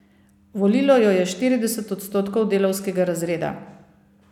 Volilo jo je štirideset odstotkov delavskega razreda.